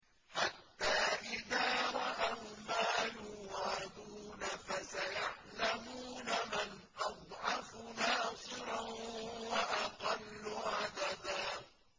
حَتَّىٰ إِذَا رَأَوْا مَا يُوعَدُونَ فَسَيَعْلَمُونَ مَنْ أَضْعَفُ نَاصِرًا وَأَقَلُّ عَدَدًا